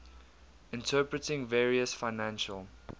interpreting various financial